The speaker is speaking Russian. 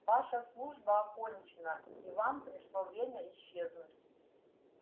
ваша служба окончена и вам пришло время исчезнуть